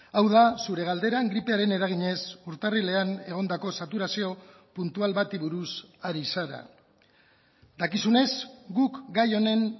hau da zure galderan gripearen eraginez urtarrilean egondako saturazio puntual bati buruz ari zara dakizunez guk gai honen